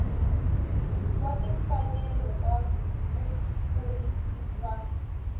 wa timfanelo ta vakurisi va